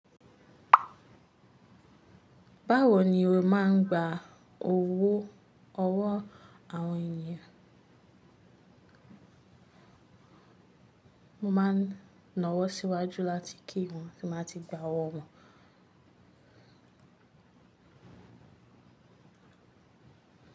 Báwo ni o má ń gba owó ọwọ́ àwọn ènìyàn? Mo maá ń na wọ́ síwájú láti kí wọ́n tí n bá tí gbá owó wọn.